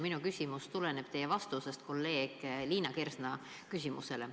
Minu küsimus tuleneb teie vastusest kolleeg Liina Kersna küsimusele.